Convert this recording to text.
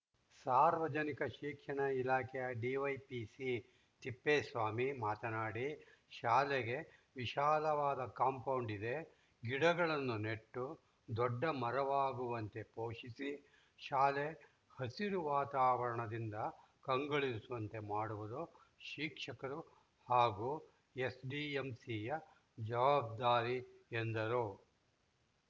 ಸಾರ್ವಜನಿಕ ಶಿಕ್ಷಣ ಇಲಾಖೆಯ ಡಿವೈಪಿಸಿ ತಿಪ್ಪೇಸ್ವಾಮಿ ಮಾತನಾಡಿ ಶಾಲೆಗೆ ವಿಶಾಲವಾದ ಕಾಂಪೌಂಡ್‌ ಇದೆ ಗಿಡಗಳನ್ನು ನೆಟ್ಟು ದೊಡ್ಡ ಮರವಾಗುವಂತೆ ಪೋಷಿಸಿ ಶಾಲೆ ಹಸಿರು ವಾತಾವರಣದಿಂದ ಕಂಗೊಳಿಸುವಂತೆ ಮಾಡುವುದು ಶಿಕ್ಷಕರು ಹಾಗೂ ಎಸ್‌ಡಿಎಂಸಿಯ ಜವಾಬ್ದಾರಿ ಎಂದರು